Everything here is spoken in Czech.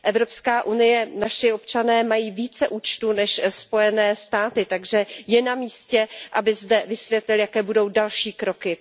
Evropská unie, naši občané mají více účtů než Spojené státy, takže je na místě, aby zde vysvětlil, jaké budou další kroky.